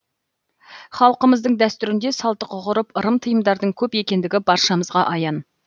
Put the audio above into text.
халқымыздың дәстүрінде салттық ғұрып ырым тыйымдардың көп екендігі баршамызған аян